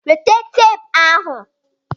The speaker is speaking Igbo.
Weta teepu ahụ!